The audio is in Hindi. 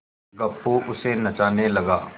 गप्पू उसे नचाने लगा